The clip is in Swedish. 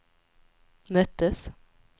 möttes